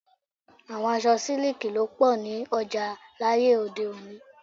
Àwọn aṣọ siliki ló pọ ní ọjà láyé òde-òní.